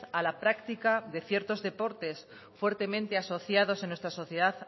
a la práctica de ciertos deportes fuertemente asociados en nuestra sociedad